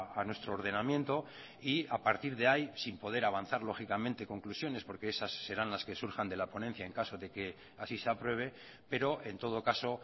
a nuestro ordenamiento y a partir de ahí sin poder avanzar lógicamente conclusiones porque esas serán las que surjan de la ponencia en caso de que así se apruebe pero en todo caso